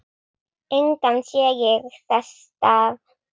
Engan sé ég þess stað.